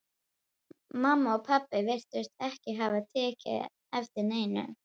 Mamma og pabbi virtust ekki hafa tekið eftir neinu.